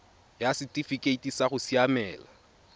ya setifikeite sa go siamela